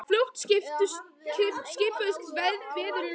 En fljótt skipuðust veður í lofti.